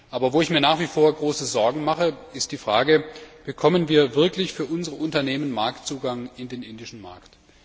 Aber wo ich mir nach wie vor große Sorgen mache, ist die Frage Bekommen wir wirklich für unsere Unternehmen Zugang zum indischen Markt?